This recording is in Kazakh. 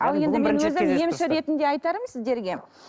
емші ретінде айтарым сіздерге